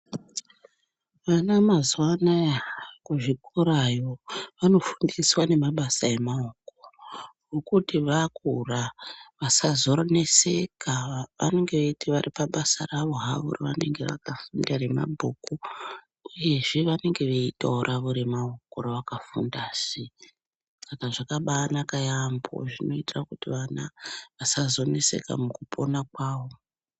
Vana mazuva anaya kuzvikora yoo vanofundiswa nemabasa emaoko okuti vakura vasazonetseka pavanenge veyiti varipabasa ravo havo ravanenge veyi verenge mabhuku vanenge veyitewo basa ravo ravaka funda sii saka zvakanaka yaambo zvinoite kuti vana vasazo netseke mukupona kwavo.